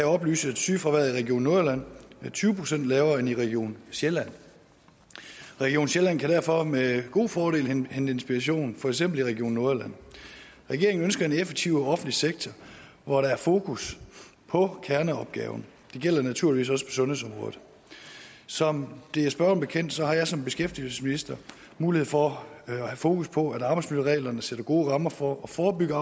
oplyse at sygefraværet i region nordjylland er tyve procent lavere end i region sjælland region sjælland kan derfor med god fordel hente inspiration i for eksempel region nordjylland regeringen ønsker en effektiv offentlig sektor hvor der er fokus på kerneopgaven det gælder naturligvis også sundhedsområdet som det er spørgeren bekendt har jeg som beskæftigelsesminister mulighed for at have fokus på at arbejdsmiljøreglerne sætter gode rammer for at forebygge